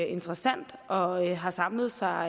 interessant og har samlet sig